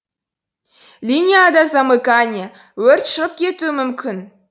линияда замыкание өрт шығып кетуі мүмкін